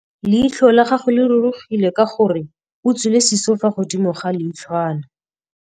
Leitlhô la gagwe le rurugile ka gore o tswile sisô fa godimo ga leitlhwana.